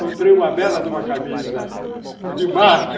Comprei uma bela de uma camisa de marca.